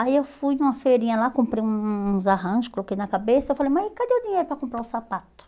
Aí eu fui numa feirinha lá, comprei um um uns arranjos, coloquei na cabeça, eu falei, mas cadê o dinheiro para comprar um sapato?